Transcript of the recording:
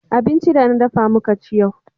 abinci da na dafa muka ci yau